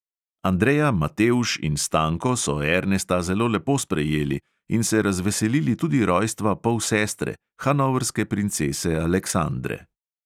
Andrea, matevž in stanko so ernesta zelo lepo sprejeli in se razveselili tudi rojstva polsestre, hanovrske princese aleksandre.